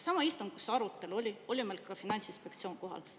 Samal istungil, kus toimus see arutelu, oli meil ka Finantsinspektsioon kohal.